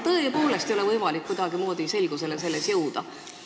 Kas selles ei ole tõepoolest võimalik kuidagimoodi selgusele jõuda?